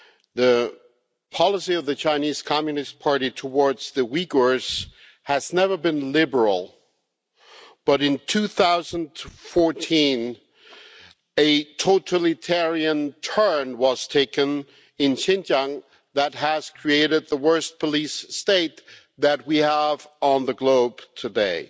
The policy of the Chinese Communist Party towards the Uyghurs has never been liberal, but in 2014 a totalitarian turn was taken in Xinjiang that has created the worst police state that we have on the globe today.